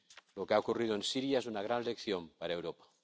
Lo que ha ocurrido en Siria es una gran lección para Europa.